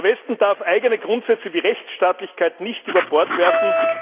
Der Westen darf eigene Grundsätze wie Rechtsstaatlichkeit nicht über Bord werfen.